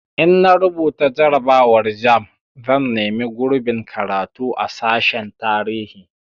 In na rubuta jarrabawar jamb zan nemi gurbin karatu a sashen tarihi